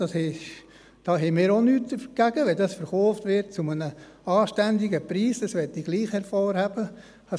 Dagegen haben wir auch nichts, wenn es zu einem anständigen Preis – das möchte ich gleichwohl hervorheben – verkauft wird.